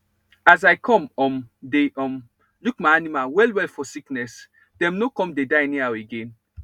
as i come um dey um look my animal well well for sickness dem no come dey die anyhow again